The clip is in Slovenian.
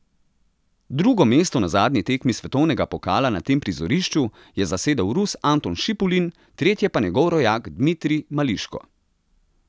Drugo mesto na zadnji tekmi svetovnega pokala na tem prizorišču je zasedel Rus Anton Šipulin, tretje pa njegov rojak Dmitrij Mališko.